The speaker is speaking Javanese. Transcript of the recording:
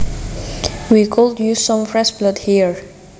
We could use some fresh blood here